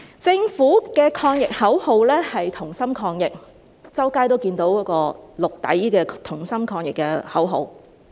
政府的抗疫口號是"同心抗疫"，我們在四周都看到綠色底的"同心抗疫"海報。